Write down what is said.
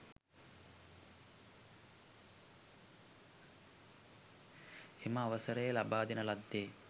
එම අවසරය ලබාදෙන ලද්දේ